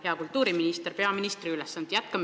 Hea kultuuriminister peaministri ülesannetes!